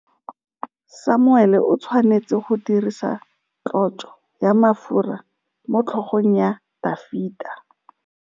Samuele o tshwanetse go dirisa tlotsô ya mafura motlhôgong ya Dafita.